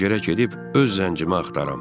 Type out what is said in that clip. Mən gərək gedib öz zəncimi axtaram.